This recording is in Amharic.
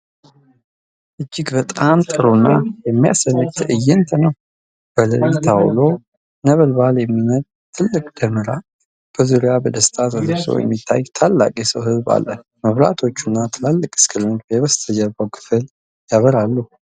እጅግ በጣም ጥሩና የሚያስደንቅ ትዕይንት ነው። በሌሊት አውሎ ነበልባል የሚነድ ትልቅ ደመራ፤ በዙሪያው በደስታ ተሰብስቦ የሚታይ ታላቅ የሰው ሕዝብ አለ። መብራቶችና ትላልቅ ስክሪኖች የበስተጀርባውን ክፍል ያበራሉ።